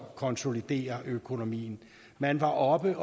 konsoliderer økonomien man var oppe